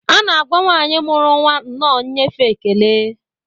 A na-agwa nwanyị muru nwa nnọọ nyefee ekele